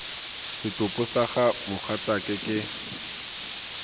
setopo sa ga mogatsaake ke